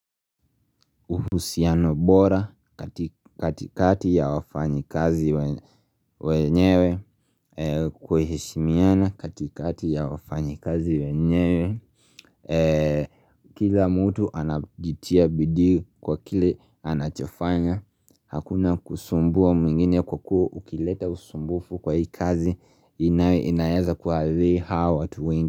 Uhusiano bora katikati ya wafanyi kazi wenyewe kuheshimiana katikati ya wafanyi kazi wenyewe Kila mtu anajitia bidii kwa kile anachafanya Hakuna kusumbua mwingine kwa kuwa ukileta usumbufu kwa hii kazi inaweza kuathili hawa watu.